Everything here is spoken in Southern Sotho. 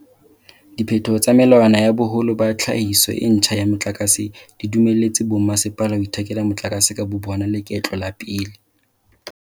Diphetoho tsa melawana ya boholo ba tlhahiso e ntjha ya motlakase di dumelletse bommasepala ho ithekela motlakase ka bobona leketlo la pele.